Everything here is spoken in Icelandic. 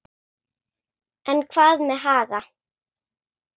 En hvað með Haga?